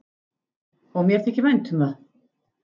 Og mér þykir vænt um það.